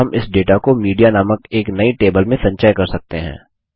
और हम इस डेटा को मीडिया नामक एक नई टेबल में संचय कर सकते हैं